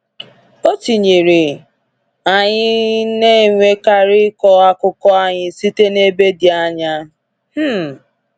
O tinyere: anyị na enwekarị ịkọ akụkọ anyị site n’ebe dị anya.” um